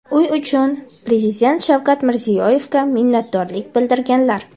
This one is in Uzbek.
uy uchun Prezident Shavkat Mirziyoyevga minnatdorlik bildirganlar.